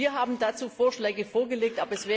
Wir haben dazu Vorschläge vorgelegt.